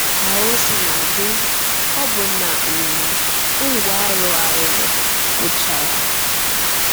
Ka o sina dị, ọbụna um Ngwo arụgharịrị gwụchara.